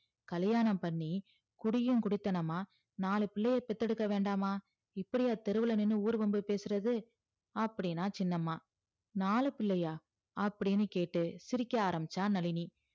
கல்யாணம் பண்ணி குடியும் குடித்தனமா நாலு பிள்ளைய பெத்து எடுக்க வேண்டாமா இப்பிடியா தெருவுல நின்னு ஊருவம்பு பேசுறது அப்டின்னா சின்னம்மா நாலு பிள்ளையா அப்டின்னு கேட்டு சிரிக்க ஆரம்பிச்சா நழினி